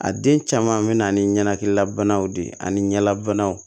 A den caman bɛ na ni ɲanakililabanaw de ye ani ɲɛdabanaw